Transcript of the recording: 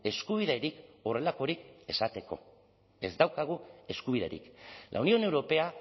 eskubiderik horrelakorik esateko ez daukagu eskubiderik la unión europea